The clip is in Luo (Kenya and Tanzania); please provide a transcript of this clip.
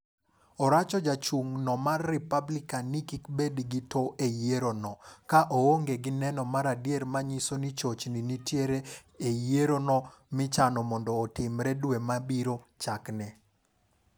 Oracho jachung' no mar Republican ni kik bed gi to e yiero no, ko onge gi neno maradier manyiso ni chochni nitiere yiero no michano mondo otimre dwe ma biro chakne.